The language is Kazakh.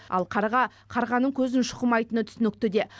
ал қарға қарғаның көзін шұқымайтыны түсінікті де